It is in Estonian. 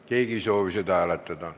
Keegi ei soovi seda hääletada.